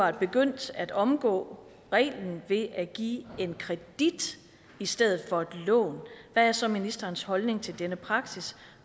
er begyndt at omgå reglen ved at give en kredit i stedet for et lån hvad er så ministerens holdning til denne praksis